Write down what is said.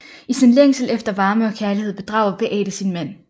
I sin længsel efter varme og kærlighed bedrager Beate sin mand